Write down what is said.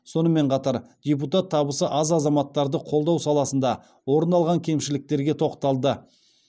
сонымен қатар депутат табысы аз азаматтарды қолдау саласында орын алған кемшіліктерге тоқталды